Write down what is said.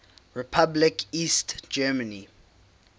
republic east germany